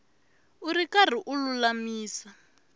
u ri karhi u lulamisa